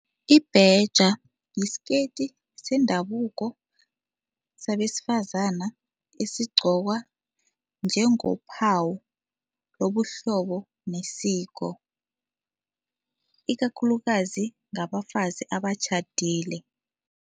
Ibheja yisikeyiti sendabuko sabesifazana esigcokwa njengophawu lobuhlobo nesiko ikakhulukazi ngabafazi abatjhadile.